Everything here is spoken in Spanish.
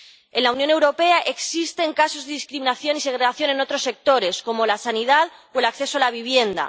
En la Unión Europea existen casos de discriminación y segregación en otros sectores, como la sanidad o el acceso a la vivienda.